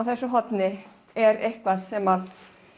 þessu horni er eitthvað sem